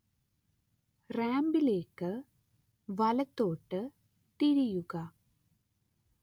റാമ്പിലേക്ക് വലത്തോട്ട് തിരിയുക